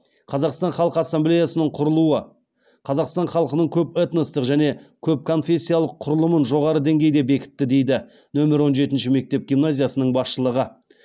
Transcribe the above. қазақстан халқы ассамблеясының құрылуы қазақстан халқының көп этностық және көп конфессиялық құрылымын жоғары деңгейде бекітті дейді нөмір он жетінші мектеп гимназиясының басшылығы